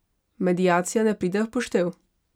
Mediacija ne pride v poštev?